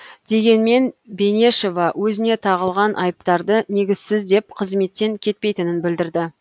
дегенмен бенешова өзіне тағылған айыптарды негізсіз деп қызметтен кетпейтінін білдірді